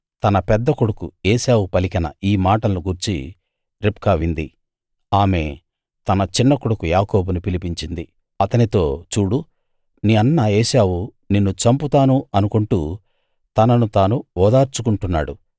తన పెద్దకొడుకు ఏశావు పలికిన ఈ మాటలను గూర్చి రిబ్కా వింది ఆమె తన చిన్నకొడుకు యాకోబును పిలిపించింది అతనితో చూడు నీ అన్న ఏశావు నిన్ను చంపుతాను అనుకుంటూ తనను తాను ఓదార్చుకుంటున్నాడు